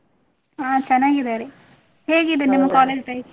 ಹಾ ಚನ್ನಾಗಿದ್ದಾರೆ, ಹೇಗಿದೆ ನಿಮ್ಮ life ?